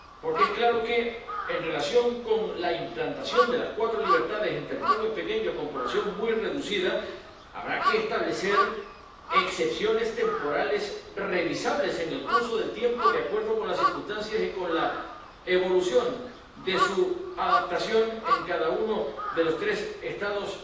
Porque está claro que, en relación con la implantación de las cuatro libertades en territorios pequeños con población muy reducida, habrá que establecer excepciones temporales revisables en el curso del tiempo, de acuerdo con las circunstancias y con la evolución de su adaptación en cada uno de los tres Estados